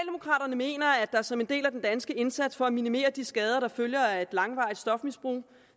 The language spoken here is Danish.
mener at der som en del af den danske indsats for at minimere de skader der følger af et langvarigt stofmisbrug